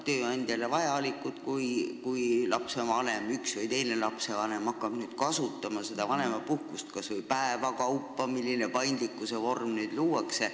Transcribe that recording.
Tööandjal on vaja ette teada, kui üks või teine lapsevanem hakkab vanemapuhkust kas või mõne päeva kaupa kasutama, nagu see uus paindlik vorm nüüd võimaldab.